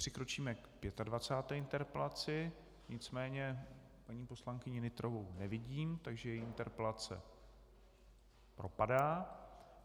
Přikročíme k 25. interpelaci, nicméně paní poslankyni Nytrovou nevidím, takže její interpelace propadá.